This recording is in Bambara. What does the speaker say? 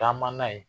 Taama na yen